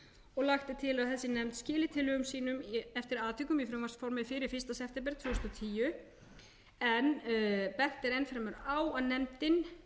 og lagt er til að þessi nefnd skili tillögum sínum eftir atvikum í frumvarpsformi fyrir fyrsta september tvö þúsund og tíu en bent er enn fremur á að nefndin